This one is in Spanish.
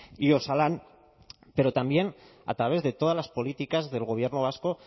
y osalan pero también a través de todas las políticas del gobierno vasco